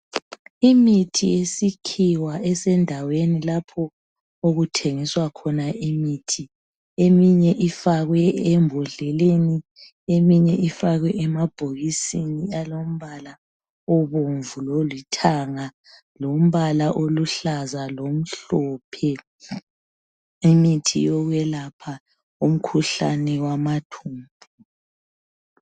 Imithi yesikhiwa eendaweni lapho okuthengiswa khona imithi, eminye ifakwe embodleleni, eminye ifakwe emabhokisini alombala obomvu lolithanga, lombala oluhlaza lo mhlophe. Imithi yokwelapha umkhuhlane wamathumbu.